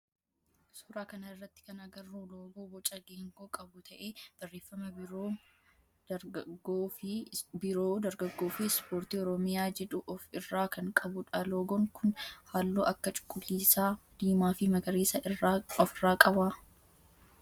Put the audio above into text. Suuraa kana irratti kan agarru loogoo boca geengoo qabu ta'ee barreeffama biiroo dargaggoo fi ispoortii oromiyaa jedhu of irraa kan qabudha. Loogoon kun halluu akka cuquliisa, diimaa fi magariisa of irraa qaba.